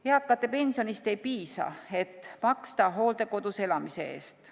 Eakate pensionist ei piisa, et maksta hooldekodus elamise eest.